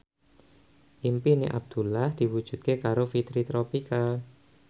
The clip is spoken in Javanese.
impine Abdullah diwujudke karo Fitri Tropika